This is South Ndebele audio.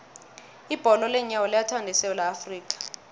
ibholo leenyawo liyathandwa esewula afrika